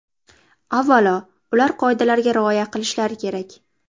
Avvalo, ular qoidalarga rioya qilishlari kerak.